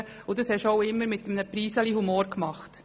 Und du hast dies auch immer mit einer Prise Humor getan.